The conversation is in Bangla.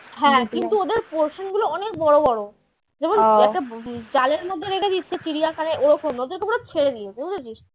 হ্যাঁ কিন্তু ওদের portion গুলো অনেক বড় বড় যেমন জালের মধ্যে রেখে দিচ্ছে চিড়িয়াখানে ওরকম না ওদেরকে পুরো ছেড়ে দিয়েছে বুঝেছিস?